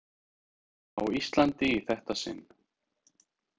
Á Íslandi í þetta sinn.